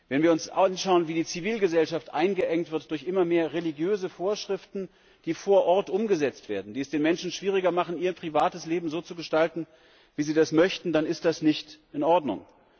Wenn wir uns anschauen, wie die Zivilgesellschaft eingeengt wird durch immer mehr religiöse Vorschriften, die vor Ort umgesetzt werden, die es den Menschen schwieriger machen, ihr privates Leben so zu gestalten, wie sie das möchten, dann ist das nicht in Ordnung.